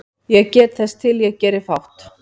Ég get þess til ég geri fátt